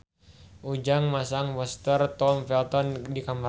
Ujang masang poster Tom Felton di kamarna